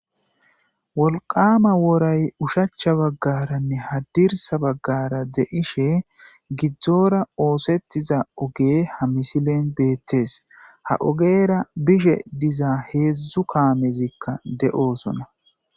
Wolqama woray ushacha baggaranne hadirsa baggara de'ishe gidzdzora oosettiza oge ha misilen beettees ha ogeera bishe diza heedzdzu kaamezikka de'osona.